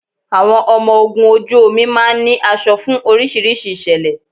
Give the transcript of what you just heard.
Àwọn ọmọ ogun ojú omi máa ń ní aṣọ fún oríṣiríṣi ìṣẹ̀lẹ̀